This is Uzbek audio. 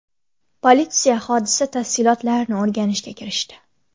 Politsiya hodisa tafsilotlarini o‘rganishga kirishdi.